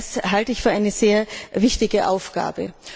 Das halte ich für eine sehr wichtige Aufgabe.